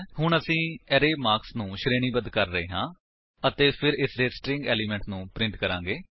ਹੁਣ ਅਸੀ array marks ਨੂੰ ਸ਼ਰੇਣੀਬੱਧ ਕਰ ਰਹੇ ਹਾਂ ਅਤੇ ਫਿਰ ਇਸਦੇ ਸਟ੍ਰਿੰਗ ਏਲਿਮੇਂਟ ਨੂੰ ਪ੍ਰਿੰਟ ਕਰਾਂਗੇ